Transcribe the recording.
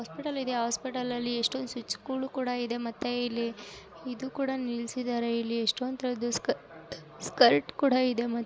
hospital ಇದೆ hospital ಅಲ್ಲಿ ಎಷ್ಟೊಂದು ಸೆಟ್ಸ್ ಗಳು ಕೂಡ ಇದೆ ಮತ್ತೆ ಇಲ್ಲಿ ಇದು ಕೂಡ ನಿಲ್ಸಿದ್ದಾರೆ ಇಲ್ಲಿ ಎಷ್ಟೊಂತರದ ಸ್ಕ ಸ್ಕರ್ಟ್ ಕೂಡ ಇದೆ ಮತ್ತ--